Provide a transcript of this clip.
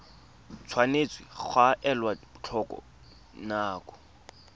tshwanetse ga elwa tlhoko dinako